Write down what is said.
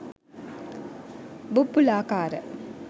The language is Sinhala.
බුබ්බුලාකාර